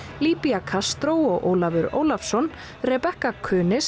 Castro og Ólafur Ólafsson Rebekka